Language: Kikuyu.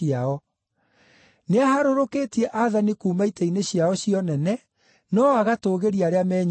Nĩaharũrũkĩtie aathani kuuma itĩ-inĩ ciao cia ũnene, no agatũũgĩria arĩa menyiihagia.